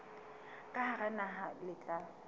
ka hara naha le tla